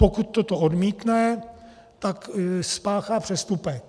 Pokud toto odmítne, tak spáchá přestupek.